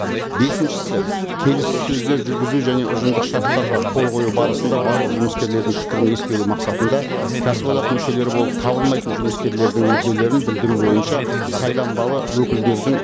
бесіншісі келіссөздер жүргізу және ұжымдық шарттарға қол қою барысында барлық жұмыскерлердің пікірін ескеру мақсатында кәсіподақ мүшелері болып табылмайтын жұмыскерлердің мүдделерін білдіру бойынша сайланбалы өкілдердің